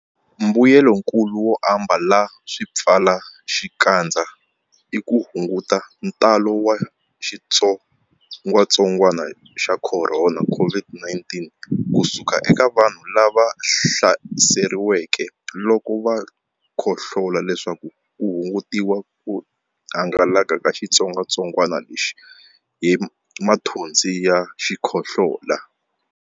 Mbuyelonkulu wo ambala swipfalaxikandza i ku hunguta ntalo wa xitsongwantsongwana xa Khorona COVID-19 ku suka eka vanhu lava hlaseriweke loko va khohlola leswaku ku hungutiwa ku hangalaka ka xitsongwantsongwana lexi hi mathonsi ya xikhohlola.